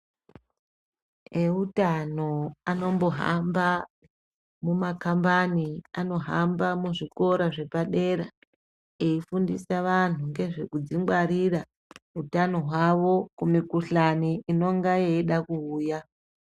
Ehutano anombohamba mumakhambani, anohamba muzvikora zvepadera efundisa vanhu ngezvekudzingwarira hutano hwavo kumikuhlane inongayeda kuuya.